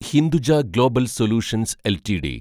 Hinduja global solutions LTD